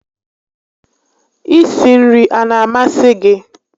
I si nri a na amasị gị?